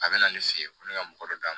A bɛ na ne fe yen ko ne ka mɔgɔ dɔ da